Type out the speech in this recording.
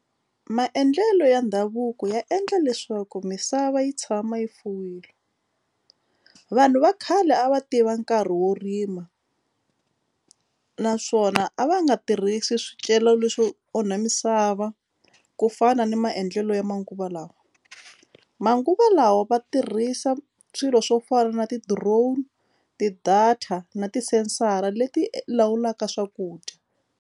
Maendlelo ya ndhavuko ya endla leswaku misava yi tshama yi fuwile vanhu va khale a va tiva nkarhi wo rima naswona a va nga tirhisi swicelwa leswo onha misava ku fana ni maendlelo ya manguva lawa manguva lawa va tirhisa swilo swo fana na ti-drone, ti-data na ti-sensor-a leti lawulaka swakudya.